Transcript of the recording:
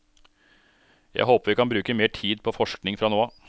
Jeg håper vi kan bruke mer tid på forskning fra nå av.